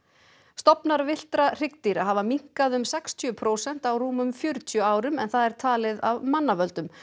stofnar villtra hryggdýra hafa minnkað um sextíu prósent á rúmum fjörutíu árum en það er talið af mannavöldum